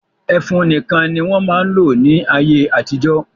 Ẹfun nìkan ni wọ́n máa ń lò ní ayé-àtijọ́.